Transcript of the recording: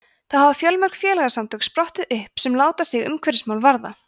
þá hafa fjölmörg félagasamtök sprottið upp sem láta sig umhverfismál varða